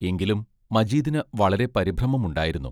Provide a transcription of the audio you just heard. എങ്കിലും മജീദിന് വളരെ പരിഭ്രമമുണ്ടായിരുന്നു.